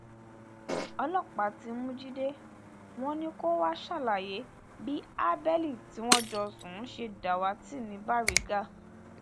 ọlọpàá ti mú jíde wọn ni kó wàá ṣàlàyé bí habeli tí wọn jọ sùn ṣe dàwátì ní baríga